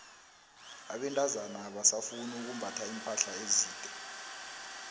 abentazana abasafuni ukumbatha iimpahla ezide